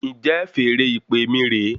Njẹ feèrè ìpè mí re